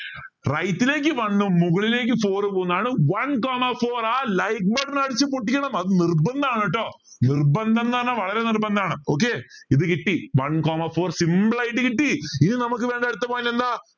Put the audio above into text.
right ലേക്ക് one ഉം മുകളിലേക്ക് four ഉം പോന്നതാണ് one coma four ആ like button അടിച്ചു പൊട്ടിക്കണം അത് നിർബന്ധമാണ് കേട്ടോ നിർബന്ധം എന്ന് പറഞ്ഞാൽ വളരെ നിർബന്ധമാണ് okay ഇത് കിട്ടി one coma four simple ആയിട്ട് കിട്ടി ഇനി നമുക്ക് വേണ്ട അടുത്ത point എന്താ